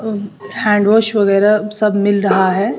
अह hand wash वगैरह सब मिल रहा है।